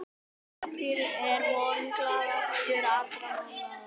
Apríl er vonglaðastur allra mánaða.